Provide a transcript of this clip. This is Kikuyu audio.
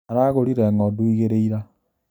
Aragũrire ng'ondu igĩri ira